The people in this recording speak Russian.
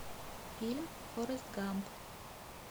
фильм форрест гамп